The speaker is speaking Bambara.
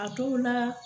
A dɔw la